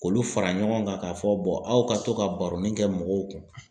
K'olu fara ɲɔgɔn kan k'a fɔ aw ka to ka baronin kɛ mɔgɔw kun.